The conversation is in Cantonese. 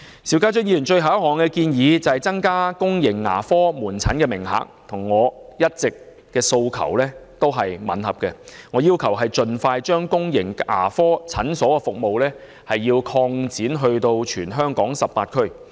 邵議員提出的最後一項建議，是增加公營牙科門診名額，這點與我一直以來的訴求吻合，我要求政府盡快把公營牙科診所服務擴展至全港18區。